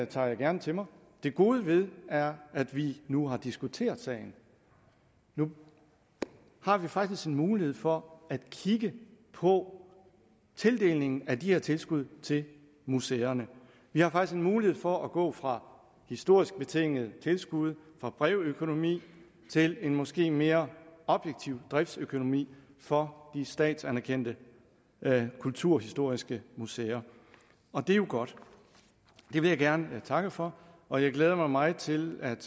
tager jeg gerne til mig det gode ved det er at vi nu har diskuteret sagen nu har vi faktisk en mulighed for at kigge på tildelingen af de her tilskud til museerne vi har faktisk en mulighed for at gå fra historisk betingede tilskud fra brevøkonomi til en måske mere objektiv driftsøkonomi for de statsanerkendte kulturhistoriske museer og det er jo godt det vil jeg gerne takke for og jeg glæder mig meget til at